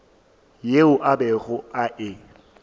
yeo a bego a e